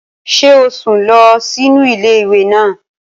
Ṣé o sùn lọ sínú ilé ìwé náà?